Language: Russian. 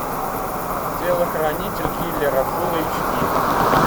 телохранитель киллера фулл эйч ди